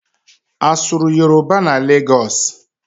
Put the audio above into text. A sụrụ Yoroba na Legọs?